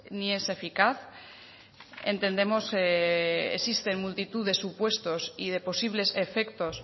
ni es eficaz entendemos existen multitud de supuestos y de posibles efectos